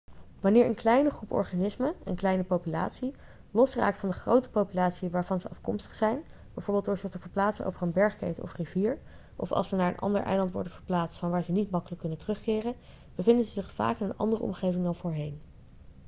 wanneer een kleine groep organismen een kleine populatie losraakt van de grote populatie waarvan ze afkomstig zijn bijvoorbeeld door zich te verplaatsen over een bergketen of rivier of als ze naar een ander eiland worden verplaatst van waar ze niet makkelijk kunnen terugkeren bevinden ze zich vaak in een andere omgeving dan voorheen